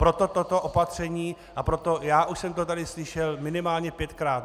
Proto toto opatření a proto - já už jsem to tady slyšel minimálně pětkrát.